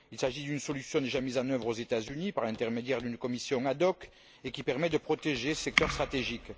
Il s'agit d'une solution déjà mise en œuvre aux États Unis par l'intermédiaire d'une commission ad hoc, et qui permet de protéger ce secteur stratégique.